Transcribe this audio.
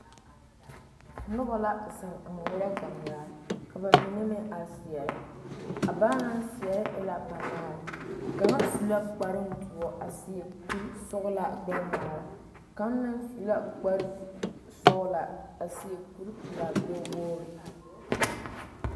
Noba.la zeŋ a ŋmeɛrɛ gangaa ka ba mine meŋ a seɛrɛ a ba naŋ seɛrɛ e la banaare kaŋa su la kparoŋ doɔ a seɛ kurisɔglaa gbɛŋmaara kaaŋ meŋ su lakparesɔglaa a seɛ kuripelaa gbɛwogri.